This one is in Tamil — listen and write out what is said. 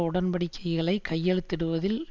உடன்படிக்கைகளை கையெழுத்திடுவதில்